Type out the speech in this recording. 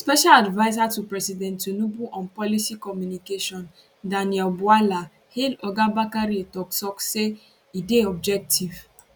special adviser to president tinubu on policy communication daniel bwala hail oga bakare toktok say e dey objective